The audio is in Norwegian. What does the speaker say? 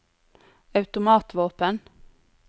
automatvåpen